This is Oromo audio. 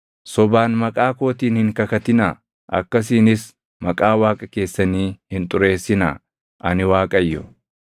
“ ‘Sobaan maqaa kootiin hin kakatinaa; akkasiinis maqaa Waaqa keessanii hin xureessinaa. Ani Waaqayyo.